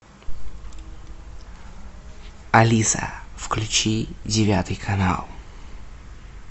алиса включи девятый канал